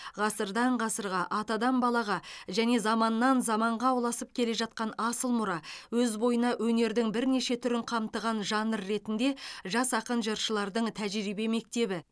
ғасырдан ғасырға атадан балаға және заманнан заманға ұласып келе жатқан асыл мұра өз бойына өнердің бірнеше түрін қамтыған жанр ретінде жас ақын жыршылардың тәжірибе мектебі